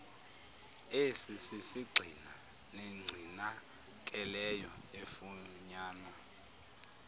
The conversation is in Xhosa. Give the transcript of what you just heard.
esisisgxina negcinakeleyo efunyanwa